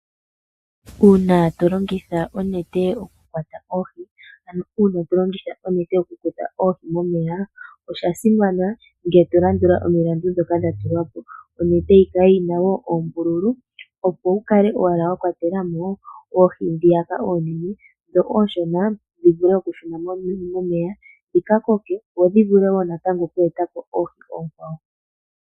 Uuna to longitha onete okukwata oohi momeya osha simana ngele to landula omilandu dhoka dha tulwa po. Onete yi kale yina oombululu opo wu kale owala wa kwatela mo oohi dhi oonene, dhi ooshona dhi shune momeya dhika koke dho dhi vule okuka eta po oohi oonkwawo.